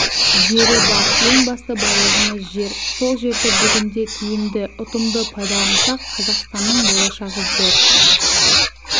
жері бар ең басты байлығымыз жер сол жерді бүгінде тиімді ұтымды пайдалансақ қазақстанның болашағы зор